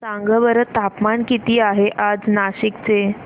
सांगा बरं तापमान किती आहे आज नाशिक चे